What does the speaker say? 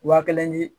Wa kelen ni